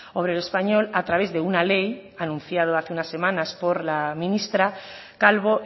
obrero español a través de una ley anunciado hace unas semanas por la ministra calvo